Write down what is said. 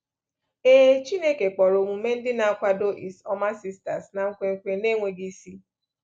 Ee, Chineke kpọrọ omume ndị na-akwado is ọma sisters na nkwenkwe na-enweghị isi.